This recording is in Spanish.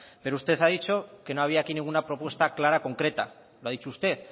pero usted ha dicho que no había aquí ninguna propuesta clara concreta lo ha dicho usted